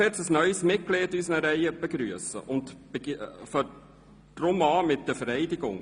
Wir dürfen nun ein neues Mitglied in unseren Reihen begrüssen und beginnen deshalb mit der Vereidigung.